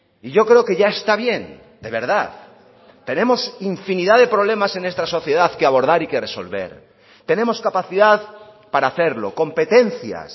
y yo creo que ya está bien de verdad tenemos infinidad de problemas en esta sociedad que abordar y que resolver tenemos capacidad para hacerlo competencias